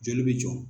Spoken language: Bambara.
Joli bɛ jɔ